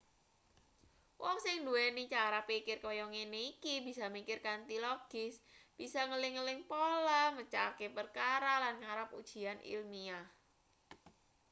wong sing nduweni cara pikir kaya ngene iki bisa mikir kanthi logis bisa ngeling-eling pola mecahke perkara lan nggarap ujian ilmiah